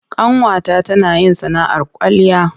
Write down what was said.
Ƙanwata tana yin sana'ar kwalliya.